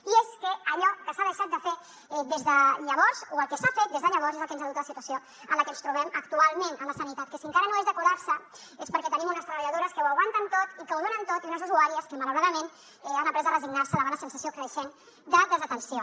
i és que allò que s’ha deixat de fer des de llavors o el que s’ha fet des de llavors és el que ens ha dut a la situació en la que ens trobem actualment en la sanitat que si encara no és de col·lapse és perquè tenim unes treballadores que ho aguanten tot i que ho donen tot i unes usuàries que malauradament han après a resignar se davant la sensació creixent de desatenció